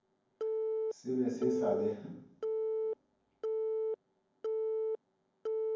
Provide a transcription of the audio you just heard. se be se sa le